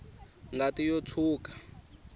ngati yo tshwuka